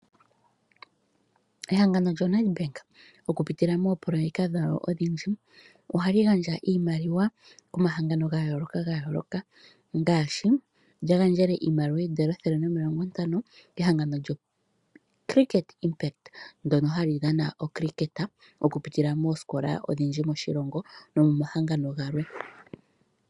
Ehangano lyoNEDBANK oku pitila moopoloyeka dhawo odhindji, ohali gandja iimaliwa komahangano ga yooloka, ngaashi lya gandjele iimaliwa oondola omayovi ethele nomilongo ntano kehangano lyoCricket ndono hali dhana oCricket oku pitila moosikola odhindji moshilongo nomomahangano galwe.